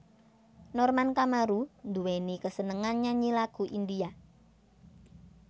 Norman Kamaru nduwèni kesenengan nyanyi lagu India